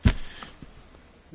Pani Przewodnicząca!